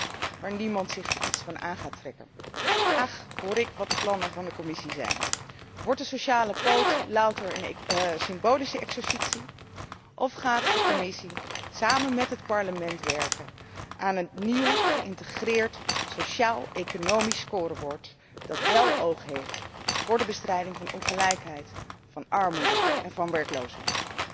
2.0', waar niemand zich iets van gaat aantrekken. Graag hoor ik wat de plannen van de Commissie zijn. Wordt de sociale poot louter een symbolische exercitie of gaat de Commissie samen met het Parlement werken aan een nieuw geïntegreerd sociaal economisch scorebord dat wél oog heeft voor de bestrijding van ongelijkheid, van armoede en van werkloosheid?